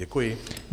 Děkuji.